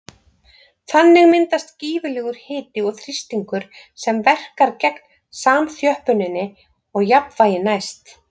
Þannig myndast gífurlegur hiti og þrýstingur sem verkar gegn samþjöppuninni og jafnvægi næst.